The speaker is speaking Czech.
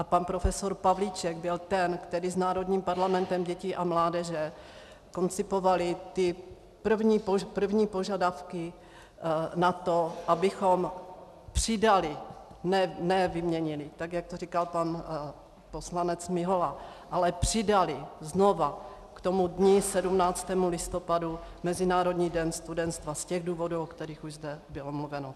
A pan profesor Pavlíček byl ten, který s Národním parlamentem dětí a mládeže koncipoval ty první požadavky na to, abychom přidali, ne vyměnili, tak jak to říkal pan poslanec Mihola, ale přidali znova k tomu dni 17. listopadu Mezinárodní den studentstva z těch důvodů, o kterých už zde bylo mluveno.